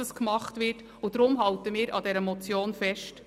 Darum halten wir an der Motion fest.